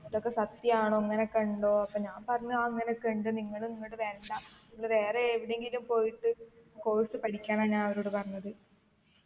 ഇതൊക്കെ സത്യാണോ ഇങ്ങനെ ഒക്കെ ഇണ്ടോ അപ്പൊ ഞാൻ പറഞ്ഞ് ആ ഇങ്ങനക്കെ ഇണ്ട് നിങ്ങൾ ഇങ്ങട്ട് വരണ്ട ഇങ്ങള് വേറെ ഏതിനെങ്കിലും പോയിട്ട് course പഠിക്കാനാ ഞാൻ അവരോട് പറഞ്ഞത്